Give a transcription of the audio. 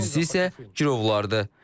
İkincisi isə girovlardır.